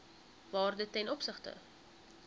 waarde ten opsigte